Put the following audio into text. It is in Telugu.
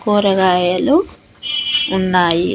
కూరగాయలు ఉన్నాయి.